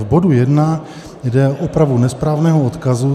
V bodu 1 jde o opravu nesprávného odkazu.